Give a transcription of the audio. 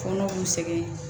Kɔnɔw sɛgɛn